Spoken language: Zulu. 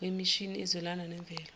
wemishini ezwelana nemvelo